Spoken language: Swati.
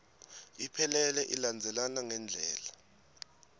iphelele ilandzelana ngendlela